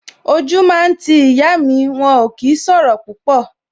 O jú máa ń ti ìyá mi, wọn ò kí máa ń sọ̀rọ̀ púpọ̀